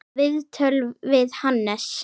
Viðtöl við Hannes